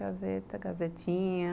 Gazeta, Gazetinha.